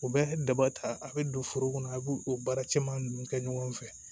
U bɛ daba ta a bɛ don foro kɔnɔ a b'o o baara caman ninnu kɛ ɲɔgɔn fɛ